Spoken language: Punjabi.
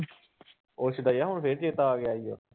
ਉਹ ਸਦਇਆ ਹੁਣ ਫਿਰ ਚੇਤਾ ਆ ਗਿਆ ਸੀਗਾ।